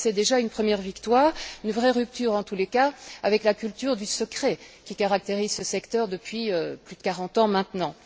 C'est déjà une première victoire, c'est une vraie rupture en tous les cas avec la culture du secret qui caractérise ce secteur depuis plus de quarante ans maintenant.